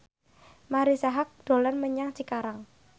Marisa Haque dolan menyang Cikarang